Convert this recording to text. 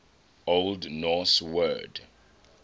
old norse word